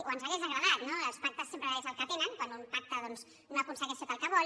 o ens hauria agradat no els pactes sempre és el que tenen quan un pacta doncs no aconsegueix tot el que vol